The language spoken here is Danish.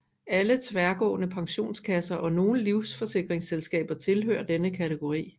Alle tværgående pensionskasser og nogle livsforsikringsselskaber tilhører denne kategori